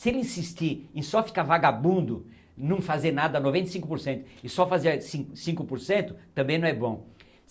Se ele insistir em só ficar vagabundo, não fazer nada noventa e cinco por cento e só fazer cin cinco por cento, também não é bom.